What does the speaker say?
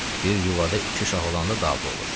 Bir yuvada iki şah olanda dava olur.